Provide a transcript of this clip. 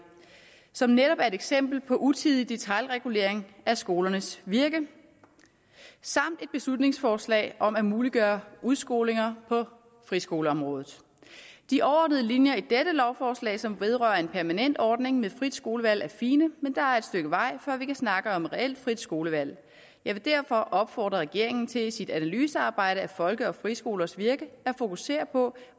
som netop er et eksempel på utidig detailregulering af skolernes virke samt et beslutningsforslag om at muliggøre udskolinger på friskoleområdet de overordnede linjer i dette lovforslag som vedrører en permanent ordning med frit skolevalg er fine men der er et stykke vej før vi kan snakke om et reelt frit skolevalg jeg vil derfor opfordre regeringen til i sit analysearbejde af folke og friskolers virke at fokusere på